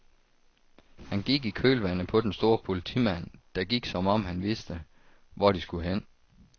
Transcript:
Han gik i kølvandet på den store politimand, der gik som om han vidste, hvor de skulle hen.